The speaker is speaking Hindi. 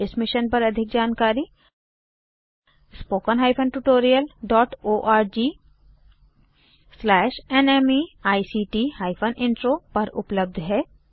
इस मिशन पर अधिक जानकारी httpspoken tutorialorgNMEICT Intro पर उपलब्ध है